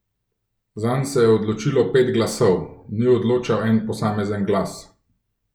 Zanj se je odločilo pet glasov, ni odločal en posamezen glas.